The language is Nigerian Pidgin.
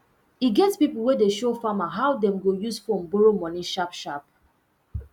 e get pipo wey de show farmer how dem go use phone borrow money sharpsharp